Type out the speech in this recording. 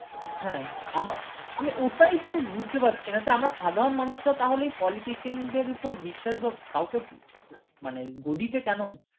হ্যাঁ আমার হ্যাঁ আমি ওটাই তো বুজতে পারছিনা আমরা সাধারণ মানুষরা তাহলে এই politician দের উপর বিশ্বাস বাঃ কাউকে মানে গদিতে কেন